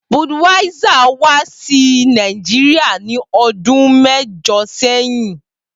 Budweiser wa si Naijiria ni ọdun mẹjọ sẹyin.